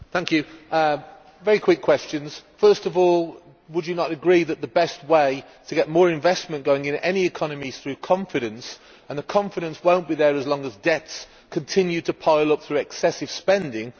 Ms Rodrigues, I have two very quick questions. First of all, would you not agree that the best way to get more investment going in any economy is through confidence, and the confidence will not be there as long as debts continue to pile up through excessive spending?